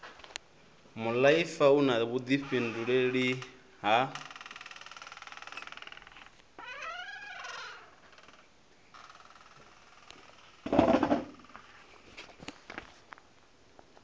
muaifa u na vhuifhinduleli ha